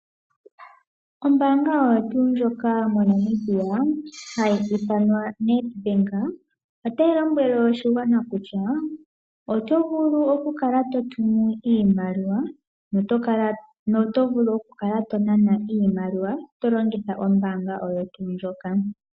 Ombaanga oyo tuu ndjoka moNamibia hayi ithanwa Nedbank otayi lombwele oshigwana kutya oto vulu okukala to tumu iimaliwa nokunana iimaliwa to longitha ombaanga oyo tuu ndjoka.